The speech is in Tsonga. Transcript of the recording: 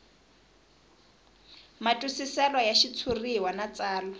matwisiselo ya xitshuriwa na tsalwa